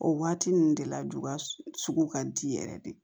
O waati ninnu de la juga sugu ka di yɛrɛ de